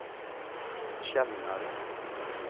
Kälarne